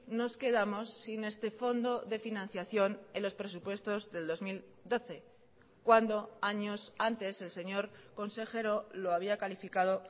nos quedamos sin este fondo de financiación en los presupuestos del dos mil doce cuando años antes el señor consejero lo había calificado